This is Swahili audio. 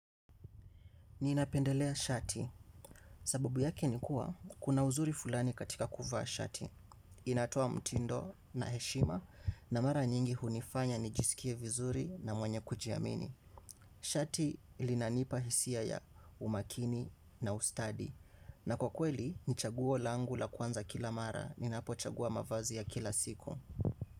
Ninapendelea shati. Sababu yake ni kuwa, kuna uzuri fulani katika kuvaa shati. Inatoa mtindo na heshima na mara nyingi. Shati lilinanipa hisia ya umakini na ustadi. Na kwa kweli, ni chaguo langu la kwanza kila mara ninapochagua nguo kila siku.